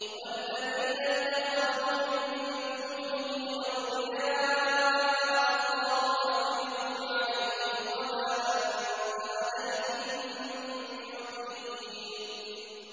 وَالَّذِينَ اتَّخَذُوا مِن دُونِهِ أَوْلِيَاءَ اللَّهُ حَفِيظٌ عَلَيْهِمْ وَمَا أَنتَ عَلَيْهِم بِوَكِيلٍ